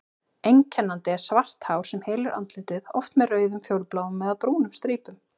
Einkennandi er svart hár sem hylur andlitið, oft með rauðum, fjólubláum eða brúnum strípum.